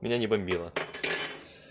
меня не бомбила